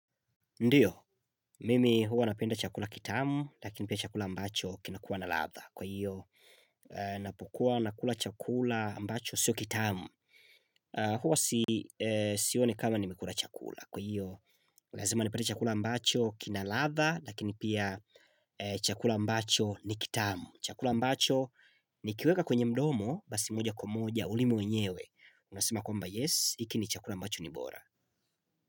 Ndiyo, mimi huwa napenda chakula kitamu, lakini pia chakula ambacho kinakuwa na ladha. Kwa hiyo, ninapukua nakula chakula ambacho sio kitamu. Huwa sioni kama nimekula chakula. Kwa hiyo, lazima nipate chakula ambacho kina na ladha, lakini pia chakula ambacho ni kitamu. Chakula ambacho nikiweka kwenye mdomo, basi moja kwa moja, ulimi wenyewe. Unasema kumba yes, hiki ni chakula ambacho ni bora.